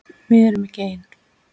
Við erum ekki ein.